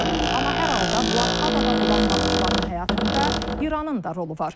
Amma hər halda blokadada olan Naxçıvanın həyatında İranın da rolu var.